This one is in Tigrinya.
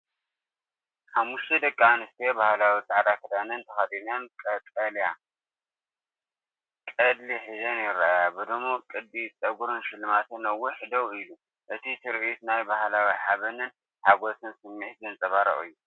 ሓሙሽተ ደቂ ኣንስትዮ ባህላዊ ጻዕዳ ክዳን ተኸዲነን ቀጠልያ ቆጽሊ ሒዘን ይረኣያ። ብድሙቕ ቅዲ ጸጉርን ሽልማትን ነዊሕ ደው ኢሉ፡ እቲ ትርኢት ናይ ባህላዊ ሓበንን ሓጎስን ስምዒት ዘንጸባርቕ እዩ።